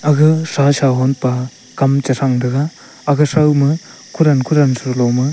aga shasha honpa kam chharan taga aga sapna khuran khuran chruloma.